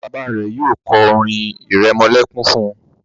bàbá rẹ yóò ko orin iremolekun fún.